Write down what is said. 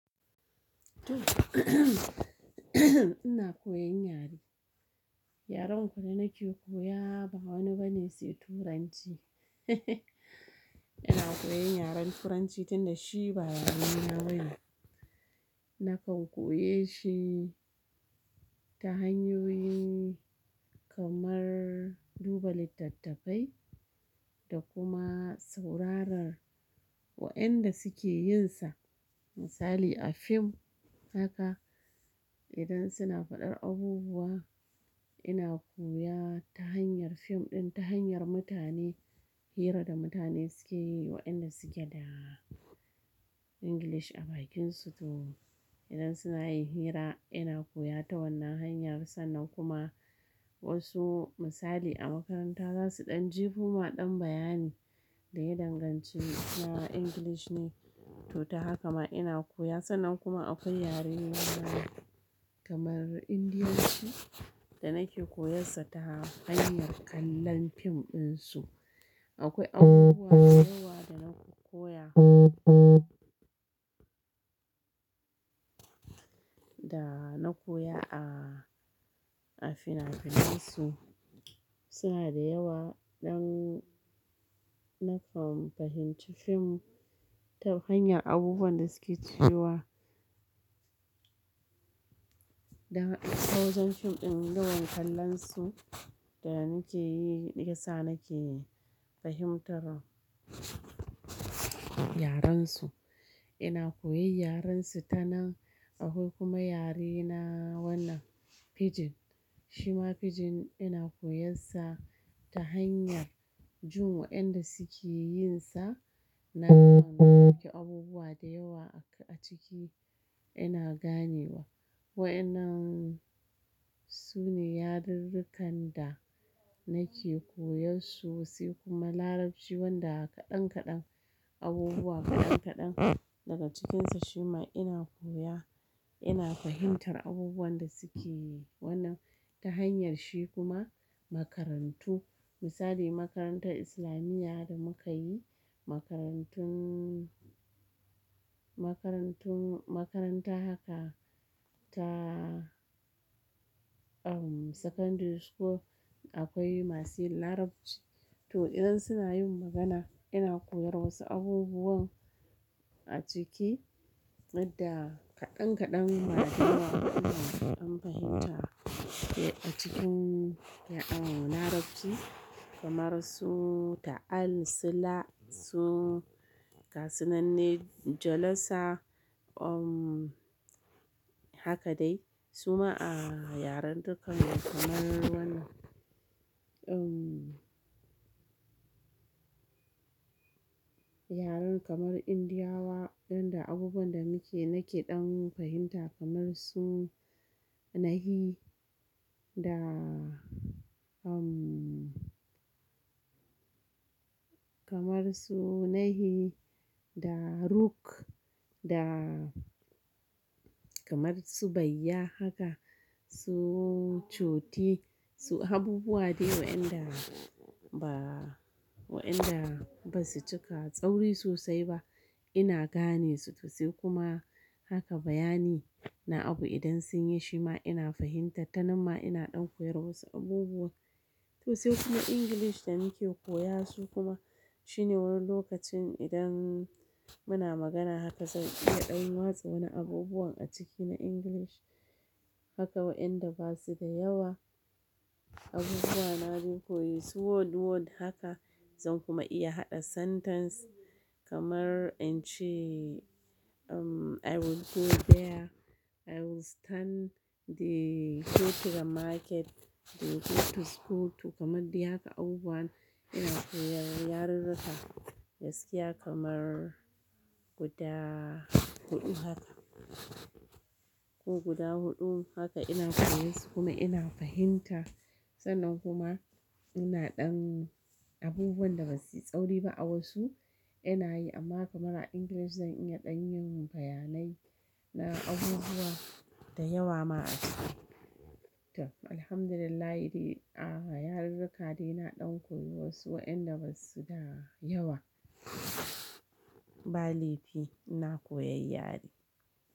Ina koyan yare. Yaren kawai da nake koya ba wani bane sai Turanci. Ina koyan yaren Turanci tunda shi ba yare na bane. Nakan koyeshi ta hanyoyi kamar duba littattafai da kuma sauraron wa'inda suke yinsa. Misali a fim haka idan suna faɗar abubuwa ina koya ta hanyar fim ɗin, ta hanyar mutane, hira da mutane suke yi wa'inda suke da English a bakinsu. To idan suna yin hira ina koya ta wannan hanyar sannan kuma wasu misali a makaranta zasu ɗan jefo ma ɗan bayani da ya danganci suna English ne to ta haka ma ina koya sannan kuma akwai yaren na kamar Indiyanci da nake koyansa ta hanyar kallon fim ɗinsu. Akwai abubuwa da yawa da na koya da na koya a, a finafinansu. Suna da yawa ɗan nakan fahimci fim ta hanyar abubuwan da suke cewa don ta wajen fim ɗin wajen kallonsu da muke yi yasa nake fahimtar yarensu. Ina koyan yarensu tanan akwai kuma yarena wannan pidgin. Shima pidgin ina koyansa ta hanyar jin wa'inda suke yinsa. Nakan gane abubuwa da yawa a ciki ina gane wa. Wa in nan su ne yarurrukan da nake koyan su sai kuma Larabci wanda kaɗan-kaɗan abubuwa kaɗan-kaɗan daga cikinsa shima ina koya, ina fahimtar abubuwan da suke wannan ta hanyar shi kuma makarantu. Misali makarantar Islamiyya da muka yi, makarantun, makarantun, makaranta haka ta um secondary school akwai masu yin Larabci to idan suna yin magana ina koyan wasu abubuwan a ciki da kaɗan-kaɗan ba da yawa ba ina ɗan fahimta. Eh a cikin Larabci kamar su ta'al, sila, su gasuna de, jalasa um haka dai. Su ma a yaren dukkan kamar wannan um yaren kamar Indiyawa wanda abubuwan da muke nake ɗan fahimta kamar su nahi da um kamar su nahi da ruk da kamar su bayya haka, su chooti, su abubuwa dai wa'inda ba wa'inda ba su cika tsauri sosai ba ina gane su to sai kuma haka bayani na abu idan sun yi shima ina fahimta tanan ma ina ɗan koyar wasu abubuwan. To sai kuma English da muke koya su kuma shine wani lokacin idan muna magana haka zan iya ɗan watsa wani abubuwan a ciki na English haka wa'inda ba su da yawa abubuwa de na koyi su word word haka zan kuma iya haɗa sentence kamar in ce um I will go there, I will stand, they go to the market, they go to school to kamar dai haka abubuwan ina koyar yarurruka gaskiya kamar guda huɗu haka. Ko guda huɗu haka ina koyarsu kuma ina fahimtar sannan kuma ina ɗan abubuwan da ba su yi tsauri ba a wasu ina yi amma kamar a English zan iya ɗan yin bayanai na abubuwa da yawa ma a ciki. To Alhamdulillah de a yarurruka dai na ɗan koyi wasu wa'inda ba su da yawa. Ba laifi ina koyan yare.